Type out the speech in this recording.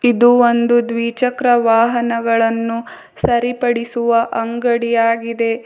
ಇದು ಒಂದು ದ್ವಿಚಕ್ರ ವಾಹನಗಳನ್ನು ಸರಿಪಡಿಸುವ ಅಂಗಡಿ ಆಗಿದೆ.